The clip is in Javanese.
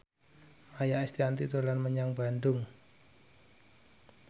Maia Estianty dolan menyang Bandung